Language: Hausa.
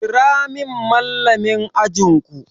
Kira min Mallamin ajin ku!